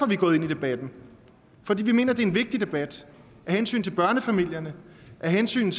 vi gået ind i debatten for vi mener det er en vigtig debat af hensyn til børnefamilierne af hensyn